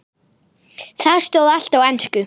Þar stóð allt á ensku.